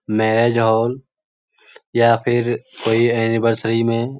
marriage hall या फिर कोई एनीवर्सरी में --